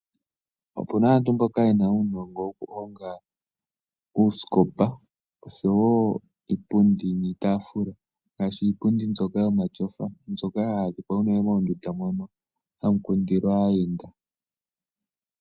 Opu na aantu mboka ye na uunongo wokuhonga uusikopa osho wo iipundi niitaafula ngaashi iipundi mbyoka yomatyofa mbyoka hayi adhika unene moondunda mono hamu kundilwa aayenda.